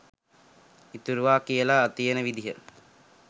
ඉතුරුවා කියලා තියෙන විදිහ